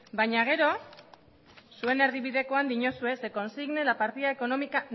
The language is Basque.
baina gero zuen erdibidekoan diozue se consigne la partida económica